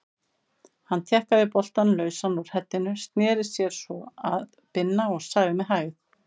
Hann tjakkaði boltann lausan úr heddinu, sneri sér svo að Binna og sagði með hægð